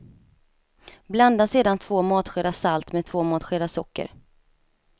Blanda sedan två matskedar salt med två matskedar socker.